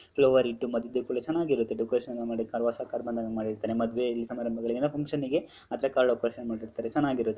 flower ಇಟ್ಟು ಮಧ್ಯದಲ್ಲಿ ಚೆನ್ನಾಗ್ ಇರುತ್ತೆ ಡೆಕೋರೇಷನ್ ಎಲ್ಲ ಮಾಡಿ ಕಾರ್ ಹೊಸ ಕಾರ್ ಬಂದಾಗ ಮಾಡಿರತಾರೆ ಮದುವೆಯಲ್ಲಿ ಸಮಾರಂಭಗಳಿಗೆ ಎಲ್ಲ ಫಂಕ್ಷನ್ ಗೆ ಆ ತರ ಕಾರ್ ಡೆಕೋರೇಷನ್ ಮಾಡಿರ್ತಾರೆ ಚೆನ್ನಾಗ್ ಇರುತ್ತೆ ಡೆಕೋರೇಷನ್ --